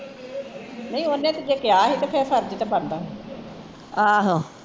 ਨਹੀਂ ਓਹਨੇ ਤੇ ਜੇ ਕਿਹਾ ਸੀ ਤੇ ਫੇਰ ਫਰਜ਼ ਤੇ ਬਣਦਾ ਸੀ